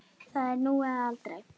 Það er nú eða aldrei.